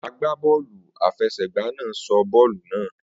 Agbá bọ́ọ̀lù àfẹsẹ̀gba náà sọ bọ́ọ̀lù náà